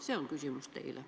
See on küsimus teile.